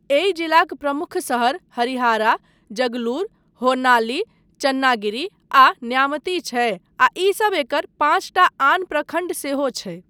एहि जिलाक प्रमुख शहर हरिहारा, जगलूर, होन्नाली चन्नागिरी आ न्यामती छै, आ ईसब एकर पाँचटा आन प्रखण्ड सेहो छै।